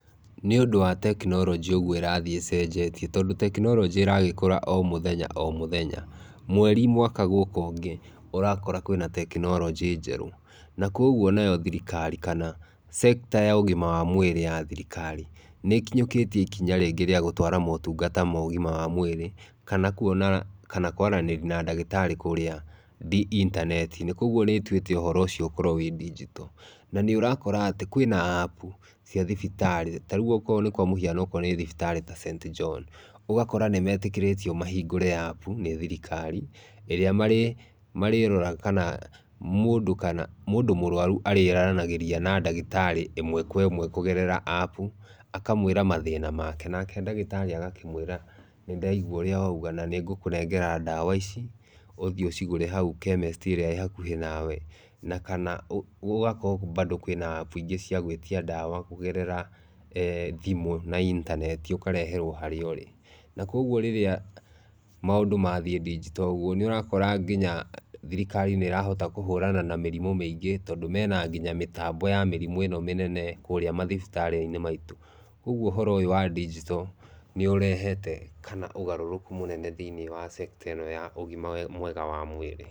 Nĩũndũ wa technology ũguo ĩrathiĩ ĩcenjetie tondũ technology ĩragĩkũra o mũthenya o mũthenya. Mweri, mwaka gũka ũngĩ, ũrakora kwĩna technology njerũ. Na kwoguo nayo thirikari kana sector ya ũgima wa mwĩrĩ ya thirikari nĩ ĩkinyũkĩtie ikinya rĩngĩ rĩa gũtwara maũtungata ma ũgima wa mwĩrĩ, kana kũona kana kũaranĩri na ndagĩtarĩ kũrĩa intaneti-inĩ. Kwoguo nĩ ĩtuĩte ũhoro ũcio ũkorwo wĩ digital. Na nĩ ũrakora atĩ kwĩna app cia thibitarĩ. Ta rĩu okorwo nĩ kwa mũhiano okorwo nĩ thibitarĩ ta StJohn, ũgakora nĩ meetĩkĩrĩtwo mahingũre app nĩ thirikari ĩrĩa marĩ marĩroraga kana mũndũ kana mũndũ mũrũaru arĩ aranagĩria na ndagĩtarĩ ĩmwe kwa ĩmwe kũgerera app, akamwĩra mathĩna make. Nake ndagĩtarĩ agakĩmwĩra, "nĩ ndaigua ũrĩa wauga na nĩ ngũkũnengera ndawa ici ũthi ũcigũre hau chemist ĩrĩa ĩ hakũhĩ nawe." Na kana ũgakora bado kwĩna app ingĩ cia gwĩtia ndawa kũgerera eh thimũ na intaneti, ũkareherwo o harĩa ũrĩ. Na kwoguo rĩrĩa maũndũ mathiĩ digital ũguo, nĩ ũrakora nginya thirikari nĩ ĩrahota kũhũrana na mĩrimũ mĩingĩ tondũ mena nginya mĩtambo ya mĩrimũ ĩno mĩnene kũrĩa mathibitarĩ-inĩ maitũ. Kwoguo ũhoro ũyũ wa digital nĩ ũrehete kana ũgarũrũku mũnene thĩinĩ wa sector ĩno ya ũgima mwega wa mwĩrĩ.